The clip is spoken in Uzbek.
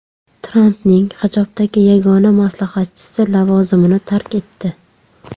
Trampning hijobdagi yagona maslahatchisi lavozimini tark etdi.